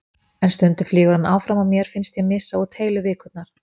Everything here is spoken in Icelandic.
En stundum flýgur hann áfram og mér finnst ég missa út heilu vikurnar.